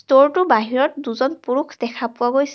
Store টোৰ বাহিৰত দুজন পুৰুষ দেখা পোৱা গৈছে.